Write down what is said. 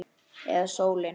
Eða sólin?